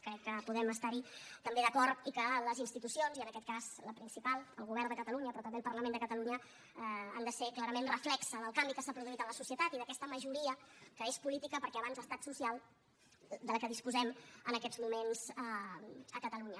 crec que podem estar hi també d’acord i que les institucions i en aquest cas la principal el govern de catalunya però també el parlament de catalunya han de ser clarament reflex del canvi que s’ha produït en la societat i d’aquesta majoria que és política perquè abans ha estat social de què disposem en aquests moments a catalunya